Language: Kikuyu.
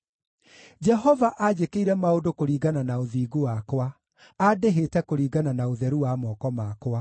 Jehova anjĩkĩire maũndũ kũringana na ũthingu wakwa; andĩhĩte kũringana na ũtheru wa moko makwa.